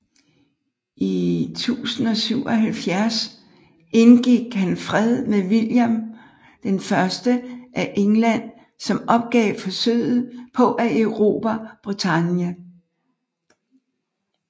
I 1077 indgik han fred med William I af England som opgav forsøget på at erobre Bretagne